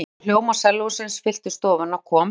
Um leið og hljómar sellósins fylltu stofuna kom